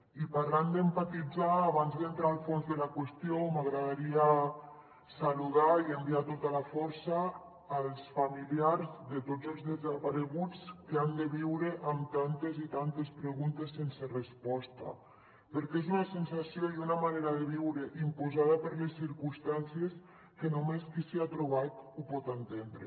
i parlant d’empatitzar abans d’entrar al fons de la qüestió m’agradaria saludar i enviar tota la força als familiars de tots els desapareguts que han de viure amb tantes i tantes preguntes sense resposta perquè és una sensació i una manera de viure imposada per les circumstàncies que només qui s’hi ha trobat ho pot entendre